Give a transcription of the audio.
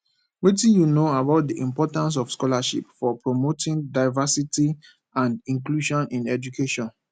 wetin you know about di importance of scholarships for promoting diversity and inclusion in education